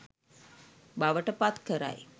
බවට පත් කරයි.